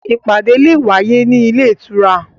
Ìpàdé le è wáyé ní ilé ìtura